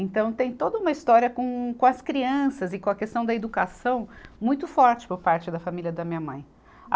Então, tem toda uma história com, com as crianças e com a questão da educação muito forte por parte da família da minha mãe.